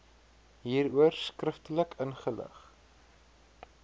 hieroor skriftelik ingelig